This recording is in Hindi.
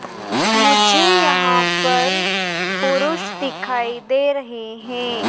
मुझे यहाँ पर पुरुष दिखाई दे रहें हैं।